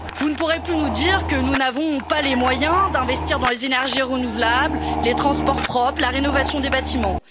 Vous ne pourrez plus nous dire que nous n'avons pas les moyens d'investir dans les énergies renouvelables, les transports propres, la rénovation des bâtiments.